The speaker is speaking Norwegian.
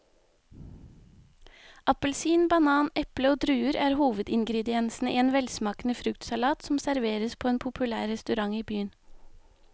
Appelsin, banan, eple og druer er hovedingredienser i en velsmakende fruktsalat som serveres på en populær restaurant i byen.